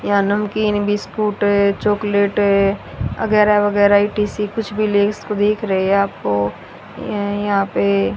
या नमकीन biscuit chocolate है वगैरा वगैरा ई_टी_सी कुछ भी ले उसको देख रहे हैं आपको ये यहां पे--